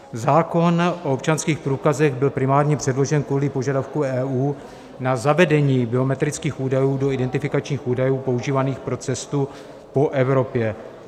Zákon o občanských průkazech byl primárně předložen kvůli požadavku EU na zavedení biometrických údajů do identifikačních údajů používaných pro cestu po Evropě.